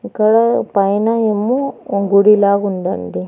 ఇక్కడ పైన ఏమో గుడి లాగుందండి.